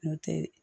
N'o tɛ